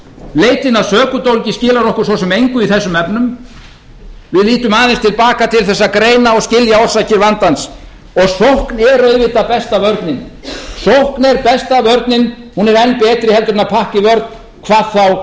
leitin að sökudólgi skilar okkur svo sem engu í þessum efnum við lítum aðeins til baka til að greina og skilja orsakir vandans og sókn er auðvitað besta vörnin sókn er besta vörnin hún er enn betri heldur en pakka í vörn hvað þá